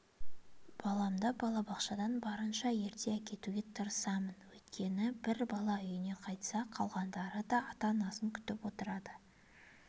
баламды балабақшадан барынша ерте әкетуге тырысамын өйткені бір бала үйіне қайтса қалғандары да ата-анасын күтіп отырады